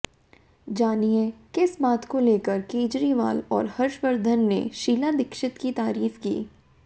जानिए किस बात को लेकर केजरीवाल और हर्षवर्धन ने शीला दीक्षित की तारीफ की